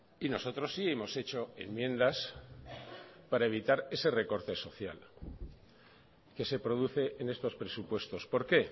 y nosotros sí hemos hecho enmiendas para evitar ese recorte social que se produce en estos presupuestos por qué